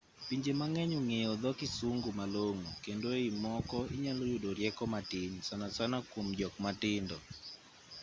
pinje mang'eny ong'eyo dho kisungu malong'o kendo e i moko inyalo yudo rieko matin sanasana kuom jok matindo